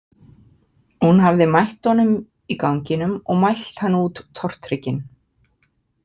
Hún hafði mætt honum í ganginum og mælt hann út tortryggin.